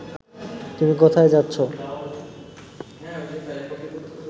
তুমি কোথায় যাচ্ছ